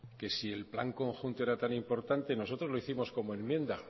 que si el plan conjunto era tan importante nosotros lo hicimos como enmienda